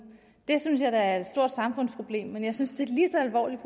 det synes jeg da er et stort samfundsproblem men jeg synes det er lige så alvorligt